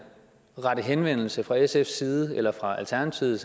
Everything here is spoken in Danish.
rette henvendelse fra sfs side eller fra alternativet